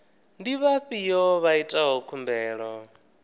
ndi vhafhio vha itaho khumbelo